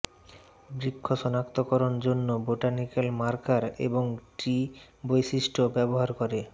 বৃক্ষ সনাক্তকরণ জন্য বোটানিকাল মার্কার এবং ট্রি বৈশিষ্ট্য ব্যবহার করে